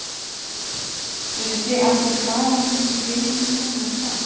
Vissuð þið af því hvaðan þessi peningur kom eða hvað?